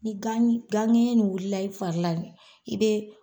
Ni gan ɲ ni gan ŋɛɲɛ ni wulila i fari la d i be